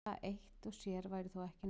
Það eitt sér væri þó ekki nóg.